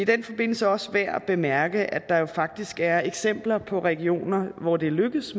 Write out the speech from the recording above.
den forbindelse også værd at bemærke at der jo faktisk er eksempler på regioner hvor det er lykkedes